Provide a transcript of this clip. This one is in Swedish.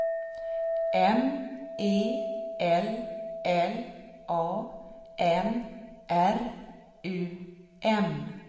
M E L L A N R U M